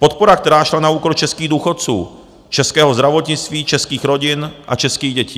Podpora, která šla na úkor českých důchodců, českého zdravotnictví, českých rodin a českých dětí.